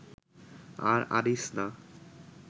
আর আনিস না